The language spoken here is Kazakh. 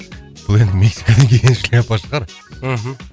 ол енді мексикадан келген шляпа шығар мхм